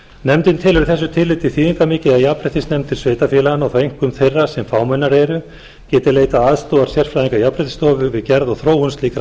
nefndin telur í þessu tilliti þýðingarmikið að jafnréttisnefndir sveitarfélaganna og þá einkum þeirra sem fámennari eru geti leitað aðstoðar sérfræðinga jafnréttisstofu við gerð og þróun slíkra